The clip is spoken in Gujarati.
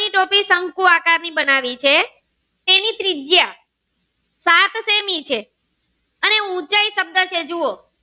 ની શંકુ આકાર ની બનાવી છે તેની ત્રિજ્યા સાત સેમી છે અને ઉંચાઈ શબ્દ છે જુઓ.